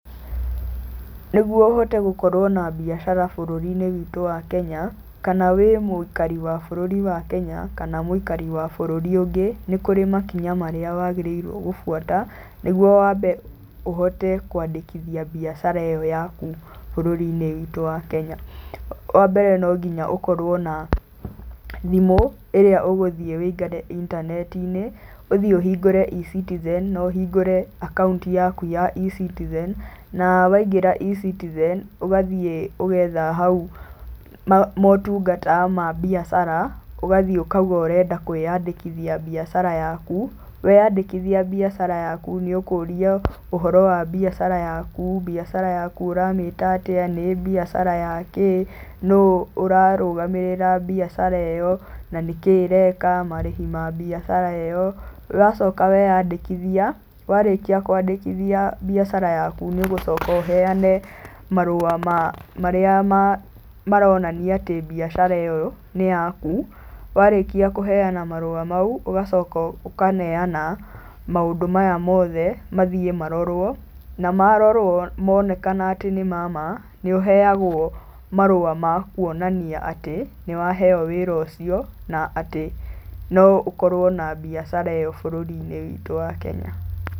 Nĩguo ũhote gũkorwo na mbiacara bũrũri-inĩ witũ wa Kenya kana wĩ mũikari wa bũrũri wa Kenya kana mũikari wa bũrũri ũngĩ, nĩ kũrĩ makinya marĩa wagĩrĩirwo gũbuata nĩguo wambe ũhote kũandĩkithia mbiacara ĩyo yaku bũrũri-inĩ witũ wa Kenya. Wambere no nginya ũkorwo na thimũ ĩrĩa ũgũthiĩ ũingĩre intaneti-inĩ, ũthiĩ ũhingũre E-citizen na ũhingũre akaũnti yaku ya E-citizen na waingĩra E-citizen, ũgathiĩ ũgetha hau motungata ma mbiacara ũgathiĩ ũkauga ũrenda kũĩandĩkithia mbiacara yaku. Weandĩkithia mbiacara yaku, nĩũkũrio ũhoro wa mbiacara yaku, mbiacara yaku ũramĩta atĩa, nĩ mbiacara yakĩ, nũ ũrarũgamĩrĩra mbiacara ĩyo na nĩkĩĩ ĩreka, marĩhi ma mbiacara ĩyo. Ũgacoka weĩandĩkithia, warĩkia kũĩandĩkithia mbiacara yaku nĩ ũgũcoka ũheane marũa marĩa maronania atĩ mbiacara ĩyo nĩ yaku. Warĩkia kũheana marũa mau ũgacoka ũkaneana maũndũ maya mothe mathiĩ marorwo, na marorwo monekana atĩ nĩ ma ma, nĩ ũheagwo marũa ma kuonania atĩ nĩwaheo wĩra ũcio na atĩ no ũkorwo na mbiacara ĩyo bũrũri-inĩ witũ wa Kenya.